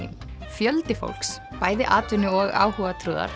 fjöldi fólks bæði atvinnu og